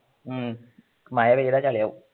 ഉം മയ പെയ്താൽ ചളി ആകും